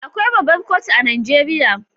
Akwai babbar kotu a Najeriya.